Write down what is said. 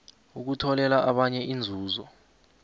ukutholela abanye inzuzo